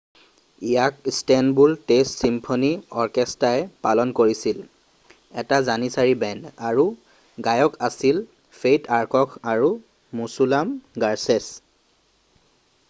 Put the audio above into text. ইয়াক Istanbul state symphony অৰ্কেষ্টাই পালন কৰিছিল এটা জানিচাৰি বেণ্ড আৰু গায়ক আছিল ফেইথ আৰ্কক আৰু মুছুলাম গাৰছেছ